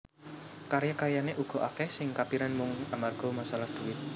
Karya karyané uga akèh sing kapiran mung amarga masalah dhuwit